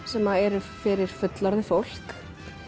sem eru fyrir fullorðið fólk